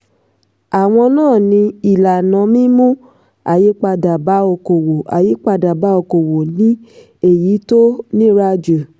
àwọn náà ni: ìlànà mímú àyípadà bá òkòòwò àyípadà bá òkòòwò ni èyí tó nira jù.